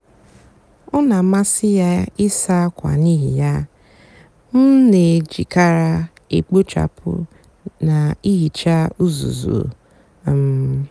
ọ nà-àmasị yá ịsá ákwa n'íhì yá m nà-èjìkarị èkpochapụ nà íhíchá úzúzu. um